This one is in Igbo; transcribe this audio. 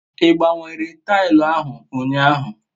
I gbanwere taili ahu unyahu?